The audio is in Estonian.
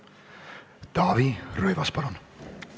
Taavi Rõivas, palun!